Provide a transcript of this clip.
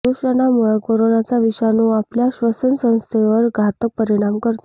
प्रदुषणामुळं करोनाचा विषाणू आपल्या श्वसन संस्थेंवर घातक परिणाम करतो